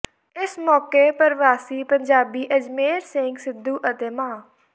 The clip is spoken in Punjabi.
ਇਸ ਮੌਕੇ ਪਰਵਾਸੀ ਪੰਜਾਬੀ ਅਜਮੇਰ ਸਿੰਘ ਸਿੱਧੂ ਅਤੇ ਮਾ